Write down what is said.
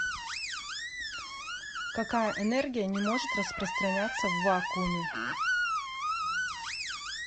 какая энергия не может распространяться в вакууме